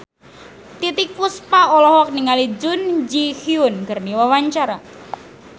Titiek Puspa olohok ningali Jun Ji Hyun keur diwawancara